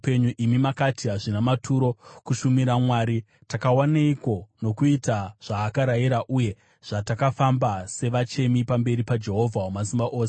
“Imi makati, ‘Hazvina maturo kushumira Mwari. Takawaneiko nokuita zvaakarayira uye zvatakafamba savachemi pamberi paJehovha Wamasimba Ose?